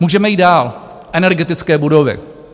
Můžeme jít dál - energetické budovy.